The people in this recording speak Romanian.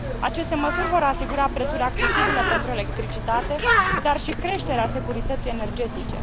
Aceste măsuri vor asigura prețuri accesibile pentru electricitate, dar și creșterea securității energetice.